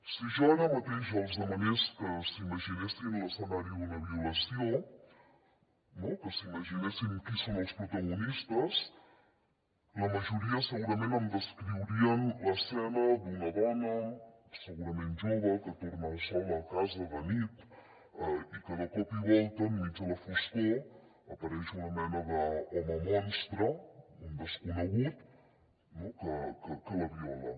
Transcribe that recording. si jo ara mateix els demanés que s’imaginessin l’escenari d’una violació no que s’imaginessin qui en són els protagonistes la majoria segurament em descriurien l’escena d’una dona segurament jove que torna sola a casa de nit i que de cop i volta enmig de la foscor apareix una mena d’home monstre un desconegut que la viola